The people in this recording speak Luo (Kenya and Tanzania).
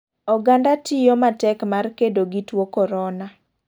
Oganda tiyo matek mar kedo gi tuo korona,.